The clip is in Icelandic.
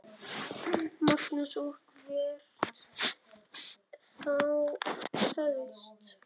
Magnús: Og hvert þá helst?